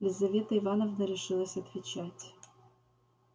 елизавета ивановна решилась отвечать